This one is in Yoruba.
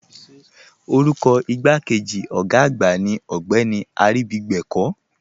Orúkọ igbàkéjì ogá àgbà ní Ogbeni Aribígbẹ̀kọ̀.